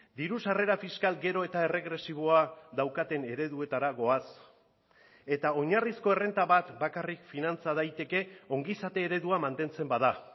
diru sarrera fiskal gero eta erregresiboa daukaten ereduetara goaz eta oinarrizko errenta bat bakarrik finantza daiteke ongizate eredua mantentzen bada